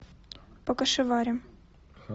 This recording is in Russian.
покашеварим